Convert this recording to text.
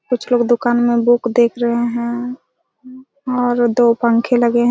कुछ लोग दुकान मे बुक देख रहे हैं और दो पंखे लगे हैं।